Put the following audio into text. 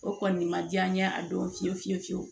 O kɔni ma diya n ye a don fiye fiye fiyewu